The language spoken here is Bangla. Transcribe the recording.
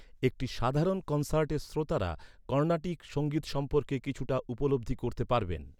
একটি সাধারণ কনসার্টের শ্রোতারা, কর্ণাটিক সঙ্গীত সম্পর্কে কিছুটা উপলব্ধি করতে পারবেন।